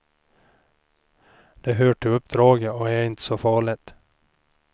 Det hör till uppdraget och är inte så farligt.